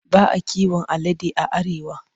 Ba a kiwon alade a Arewa.